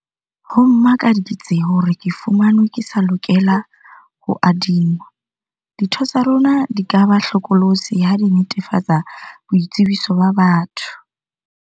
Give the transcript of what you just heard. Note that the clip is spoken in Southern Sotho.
Ho mmakaditse hore ke fumanwe ke sa lokela ho adingwa. Ditho tsa rona di ka ba hlokolosi ha di netefatsa boitsebiso ba batho.